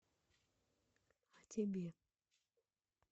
а тебе